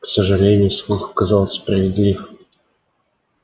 к сожалению слух оказался справедлив